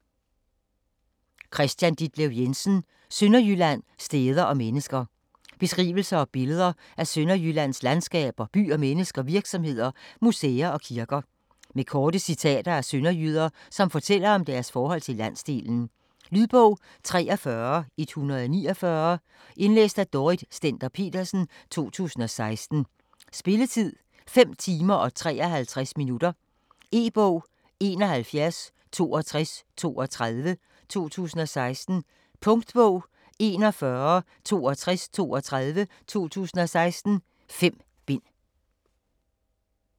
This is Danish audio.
Jensen, Kristian Ditlev: Sønderjylland: steder og mennesker Beskrivelser og billeder af Sønderjyllands landskaber, byer, mennesker, virksomheder, museer og kirker. Med korte citater af sønderjyder, som fortæller om deres forhold til landsdelen. Lydbog 43149 Indlæst af Dorrit Stender-Petersen, 2016. Spilletid: 5 timer, 53 minutter. E-bog 716232 2016. Punktbog 416232 2016. 5 bind.